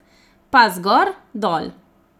Pas gor, dol.